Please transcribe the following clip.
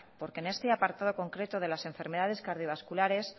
porque en este apartado concreto de las enfermedades cardiovasculares